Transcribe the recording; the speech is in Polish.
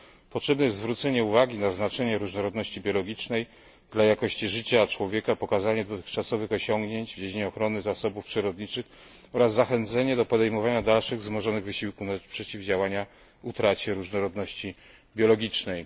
Potrzebne jest zwrócenie uwagi na znaczenie różnorodności biologicznej dla jakości życia człowieka, pokazanie dotychczasowych osiągnięć w dziedzinie ochrony zasobów przyrodniczych oraz zachęcenie do podejmowania dalszych wzmożonych wysiłków na rzecz przeciwdziałania utracie różnorodności biologicznej.